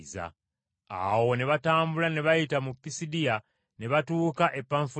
Awo ne batambula ne bayita mu Pisidiya ne batuuka e Panfuliya,